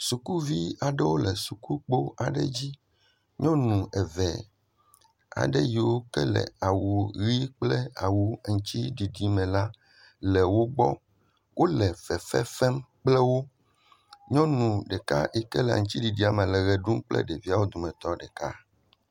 Sukuvi aɖewo le sukukpo aɖe dzi nyɔnu eve aɖewo yike le awu ɣi kple ŋtiɖiɖi me la le wo gbɔ wole fefe fem kple wo nyɔnu ɖeka yike le aŋtiɖiɖia me la le ɣeɖum kple ɖeviawo dometɔ ɖeka